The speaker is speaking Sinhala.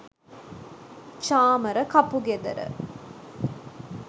chamara kapugedera